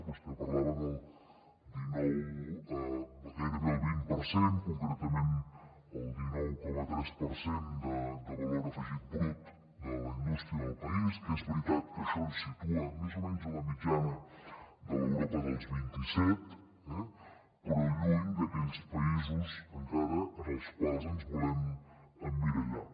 vostè parlava del dinou gairebé el vint per cent concretament el dinou coma tres per cent de valor afegit brut de la indústria del país que és veritat que això ens situa més o menys a la mitjana de l’europa dels vint i set eh però lluny d’aquells països encara en els quals ens volem emmirallar